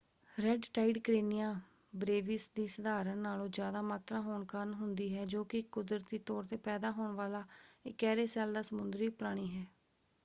Red tide Karenia brevis ਦੀ ਸਧਾਰਨ ਨਾਲੋਂ ਜ਼ਿਆਦਾ ਮਾਤਰਾ ਹੋਣ ਕਾਰਨ ਹੁੰਦੀ ਹੈ ਜੋ ਕਿ ਇੱਕ ਕੁਦਰਤੀ ਤੌਰ ‘ਤੇ ਪੈਦਾ ਹੋਣ ਵਾਲਾ ਇਕਿਹਰੇ ਸੈੱਲ ਦਾ ਸਮੁੰਦਰੀ ਪ੍ਰਾਣੀ ਹੈ।